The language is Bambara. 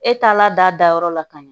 E taala dayɔrɔ la ka ɲa